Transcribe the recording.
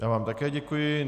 Já vám také děkuji.